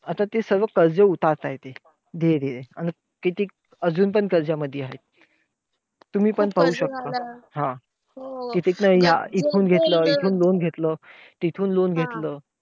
आता ते सर्व कर्ज उतारताय ते, धीरे धीरे. अन कितीक अजून पण कर्जामधी आहेत. तुम्ही पण पाहू शकता. हो! कितीक ह्या न इथून loan घेतलं तिथून घेतलं.